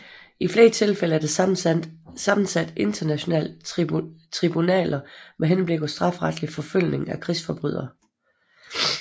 I flere tilfælde er der sammensat internationale tribunaler med henblik på strafferetlig forfølgning af krigsforbrydere